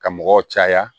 Ka mɔgɔw caya